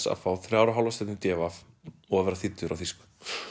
að fá þrjár og hálfa stjörnu í d v og að vera þýddur á þýsku